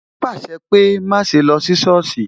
O pàṣẹ pé "má ṣe lọ sí sọ́ọ̀sì"